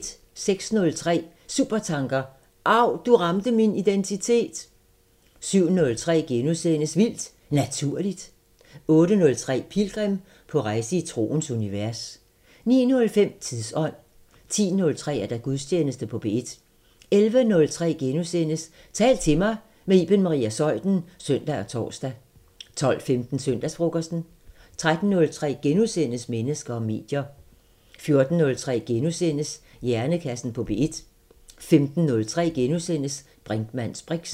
06:03: Supertanker: Av, du ramte min identitet! 07:03: Vildt Naturligt * 08:03: Pilgrim – på rejse i troens univers 09:05: Tidsånd 10:03: Gudstjeneste på P1 11:03: Tal til mig – med Iben Maria Zeuthen *(søn og tor) 12:15: Søndagsfrokosten 13:03: Mennesker og medier * 14:03: Hjernekassen på P1 * 15:03: Brinkmanns briks *